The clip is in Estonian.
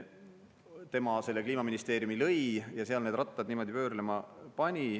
Tema selle Kliimaministeeriumi lõi ja seal need rattad pöörlema pani.